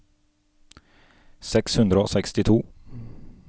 seks hundre og sekstito